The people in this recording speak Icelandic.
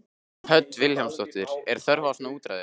Hödd Vilhjálmsdóttir: Er þörf á svona úrræði?